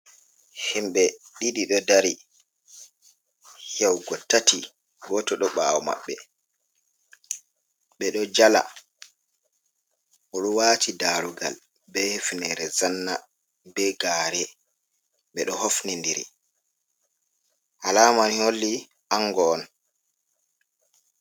Himɓe ɗiɗi ɗo dari yahugo tati goto ɗo ɓawo maɓɓe. ɓeɗo jala, oɗo wati darugal, be hefnere zanna, be gare, ɓeɗo hofnidiri alama holli ango on.